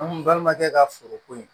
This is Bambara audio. An balimakɛ ka foro ko in